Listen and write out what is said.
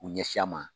U ɲɛsin an ma